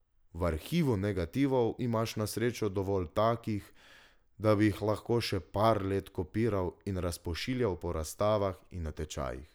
V arhivu negativov imaš na srečo dovolj takih, da bi jih lahko še par let kopiral in razpošiljal po razstavah in natečajih.